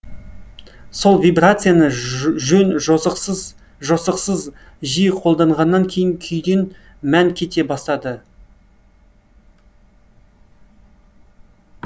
сол вибрацияны жөн жосықсыз жосықсыз жиі қолданғаннан кейін күйден мән кете бастады